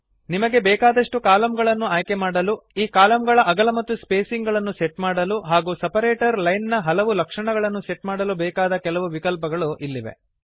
ನಿಮಗೆ ಬೇಕಾದಷ್ಟು ಕಲಮ್ಗಳನ್ನು ಆಯ್ಕೆಮಾಡಲು ಈ ಕಲಮ್ಗಳ ಅಗಲ ಮತ್ತು ಸ್ಪೇಸಿಂಗ್ ಗಳನ್ನು ಸೆಟ್ ಮಾಡಲು ಹಾಗೂ ಸೆಪರೇಟರ್ ಲೈನ್ ನ ಹಲವು ಲಕ್ಷಣಗಳನ್ನು ಸೆಟ್ ಮಾಡಲು ಬೇಕಾದ ಕೆಲವು ವಿಕಲ್ಪಗಳು ಇಲ್ಲಿವೆ